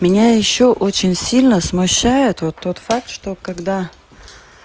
меня ещё очень сильно смущает вот тот факт что когда